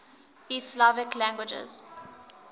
east slavic languages